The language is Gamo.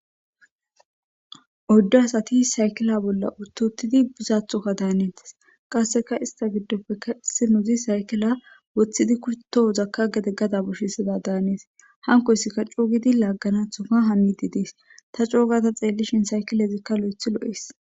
odde asati saykila bolla uttutidi buzathokka daanintes qasseka ista giddoppe kessi nuzi haykila woththidi kutto hozakka gede gada bushisida daanees hankoyssika cuugidi laagganathoka hami di dies ta coogata xeellishin saykilezikka lo7ethi lo7es